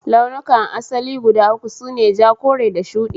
Laulukan asali guda uku sune; ja, kore da shudi